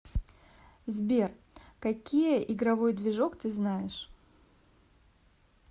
сбер какие игровой движок ты знаешь